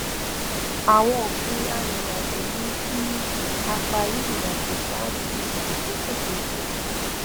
àwọn òfin àìrìnàjò mú kí a parí irinàjò ṣáájú àkókò tó pẹ